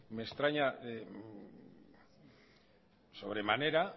me extraña sobremanera